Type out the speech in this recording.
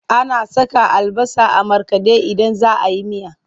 Ana saka albasa a markaɗe idan za a yi miya.